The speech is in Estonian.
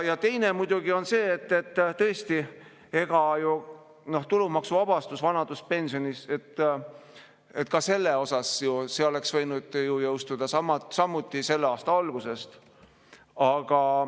Teine on muidugi see, et tõesti vanaduspensioni tulumaksuvabastus oleks võinud jõustuda samuti selle aasta algusest.